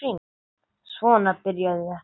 Svona byrjaði þetta.